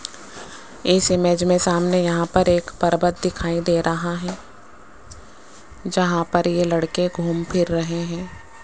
इस इमेज में सामने यहां पर एक पर्वत दिखाई दे रहा है जहां पर ये लड़के घूम-फिर रहे हैं।